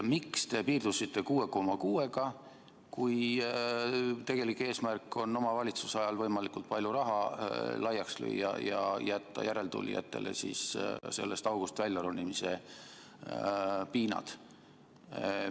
Miks te piirdusite 6,6%-ga, kui tegelik eesmärk on oma valitsuse ajal võimalikult palju raha laiaks lüüa ja jätta järeltulijatele sellest august välja ronimise piinad?